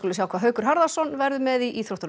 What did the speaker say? sjá hvað Haukur Harðarson verður með í íþróttum